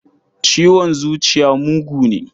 Ciwon zuciya mugu ne.